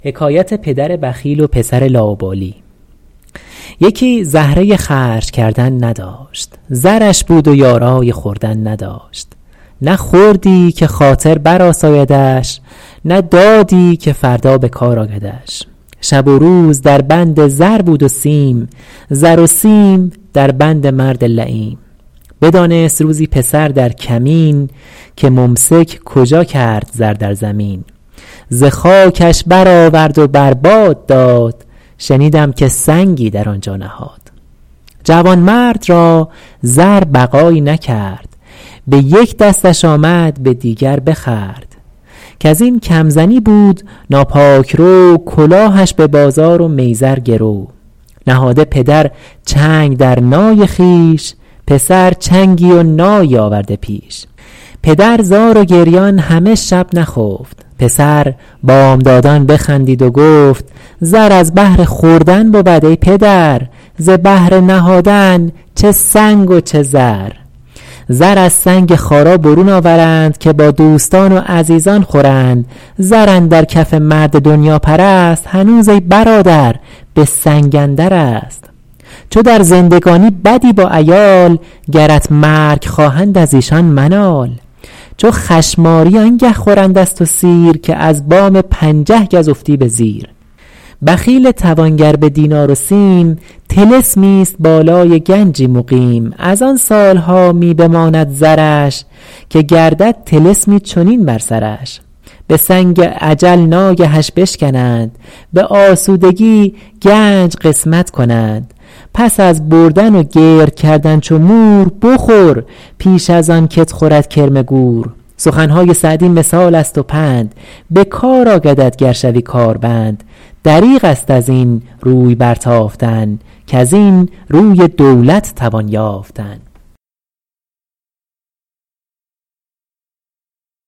یکی زهره خرج کردن نداشت زرش بود و یارای خوردن نداشت نه خوردی که خاطر بر آسایدش نه دادی که فردا بکار آیدش شب و روز در بند زر بود و سیم زر و سیم در بند مرد لییم بدانست روزی پسر در کمین که ممسک کجا کرد زر در زمین ز خاکش بر آورد و بر باد داد شنیدم که سنگی در آن جا نهاد جوانمرد را زر بقایی نکرد به یک دستش آمد به دیگر بخورد کز این کم زنی بود ناپاک رو کلاهش به بازار و میزر گرو نهاده پدر چنگ در نای خویش پسر چنگی و نایی آورده پیش پدر زار و گریان همه شب نخفت پسر بامدادان بخندید و گفت زر از بهر خوردن بود ای پدر ز بهر نهادن چه سنگ و چه زر زر از سنگ خارا برون آورند که با دوستان و عزیزان خورند زر اندر کف مرد دنیاپرست هنوز ای برادر به سنگ اندرست چو در زندگانی بدی با عیال گرت مرگ خواهند از ایشان منال چو چشمآرو آنگه خورند از تو سیر که از بام پنجه گز افتی به زیر بخیل توانگر به دینار و سیم طلسمی است بالای گنجی مقیم از آن سالها می بماند زرش که لرزد طلسمی چنین بر سرش به سنگ اجل ناگهش بشکنند به اسودگی گنج قسمت کنند پس از بردن و گرد کردن چو مور بخور پیش از آن که ت خورد کرم گور سخنهای سعدی مثال است و پند به کار آیدت گر شوی کار بند دریغ است از این روی برتافتن کز این روی دولت توان یافتن